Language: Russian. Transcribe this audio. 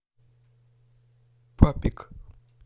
папик